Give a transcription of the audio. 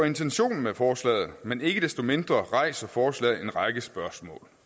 intentionen bag forslaget men ikke desto mindre rejser forslaget en række spørgsmål